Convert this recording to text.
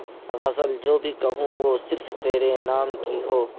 غزل جو بھی کہوں وہ صرف تیرے نام کی ہو